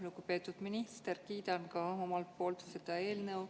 Lugupeetud minister, kiidan ka omalt poolt seda eelnõu.